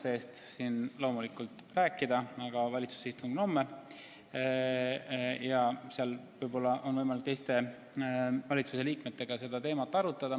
Ma ei saa loomulikult rääkida kogu valitsuse nimel, aga valitsuse istung on homme ja seal võib-olla on võimalik teiste valitsusliikmetega seda teemat arutada.